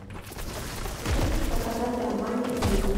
ты можешь показать романтик муви